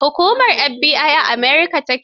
Hukumar FBI a America ta ke.